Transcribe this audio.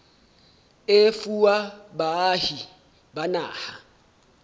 e fuwa baahi ba naha